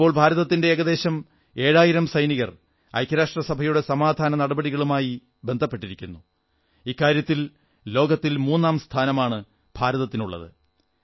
ഇപ്പോൾ ഭാരതത്തിന്റെ ഏകദേശം ഏഴായിരം സൈനികർ ഐക്യരാഷ്ട്രസഭയുടെ സമാധാനനടപടികളുമായി ബന്ധപ്പെട്ടിരിക്കുന്നു ഇക്കാര്യത്തിൽ ലോകത്തിൽ മൂന്നാംസ്ഥാനമാണ് ഭാരതത്തിനുള്ളത്